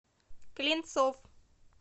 клинцов